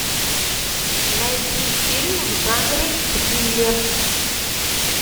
найди фильмы в жанре триллер